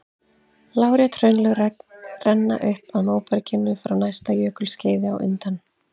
Lárétt hraunlög renna upp að móberginu frá næsta jökulskeiði á undan.